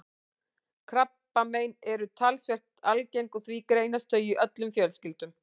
Krabbamein eru talsvert algeng og því greinast þau í öllum fjölskyldum.